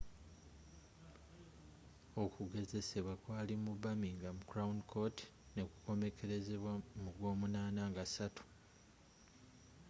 okugezesebbwa kwali mu birmingham crown court ne ku komekerezeddwa mu gw'omunana nga 3